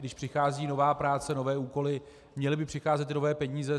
Když přichází nová práce, nové úkoly, měly by přicházet i nové peníze.